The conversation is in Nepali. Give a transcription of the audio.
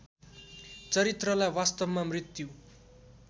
चरित्रलाई वास्तवमा मृत्यु